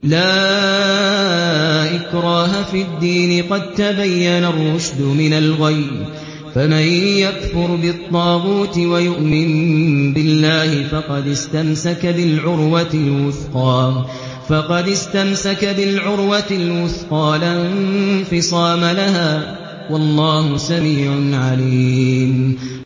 لَا إِكْرَاهَ فِي الدِّينِ ۖ قَد تَّبَيَّنَ الرُّشْدُ مِنَ الْغَيِّ ۚ فَمَن يَكْفُرْ بِالطَّاغُوتِ وَيُؤْمِن بِاللَّهِ فَقَدِ اسْتَمْسَكَ بِالْعُرْوَةِ الْوُثْقَىٰ لَا انفِصَامَ لَهَا ۗ وَاللَّهُ سَمِيعٌ عَلِيمٌ